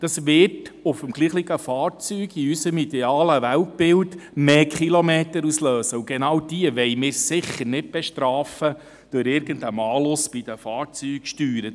Das wird auf dem gleichen Fahrzeug in unserem idealen Weltbild mehr Kilometer auslösen, und genau das wollen wir sicher nicht durch irgendeinen Malus bei den Fahrzeugsteuern bestrafen.